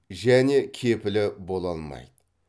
және кепілі бола алмайды